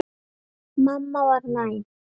Mamma var næm.